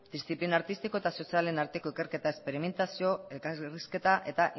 diziplina artistiko eta sozialen arteko ikerketa esperimentazio eta elkarrizketa eta